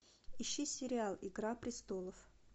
ищи сериал игра престолов